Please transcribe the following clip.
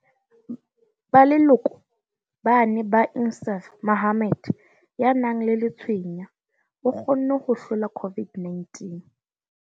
Ba leloko ba ne ba Insaaf Mohammed, ya nang le letshweya, o kgonne ho hlola COVID-19.